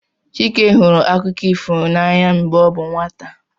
Chike hụrụ akụkọ ifo n'anya mgbe ọ bụ nwata